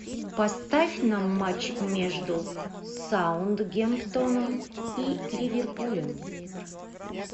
поставь нам матч между саутгемптоном и ливерпулем